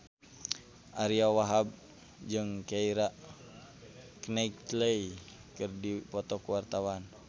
Ariyo Wahab jeung Keira Knightley keur dipoto ku wartawan